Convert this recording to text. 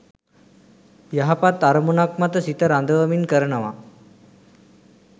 යහපත් අරමුණක් මත සිත රඳවමින් කරනවා.